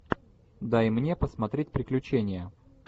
дай мне посмотреть приключения